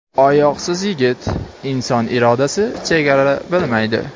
Oyoqsiz yigit: inson irodasi chegara bilmaydi.